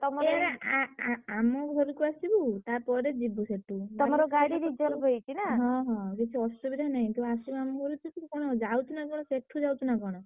ଆ~ ଆ~ ଆମ ଘରୁକୁ ଆସିବୁ ତାପରେ ଯିବୁ ସେଠୁ ହଁ ହଁ କିଛି ଅସୁବିଧା ନାହିଁ। ତୁ ଆସିବୁ ଆମ ଘରୁକୁ ତୁ ସେଠୁ କଣ ଯାଉଛୁ ନା କଣ ସେଠୁ ଯାଉଛୁ ନା କଣ।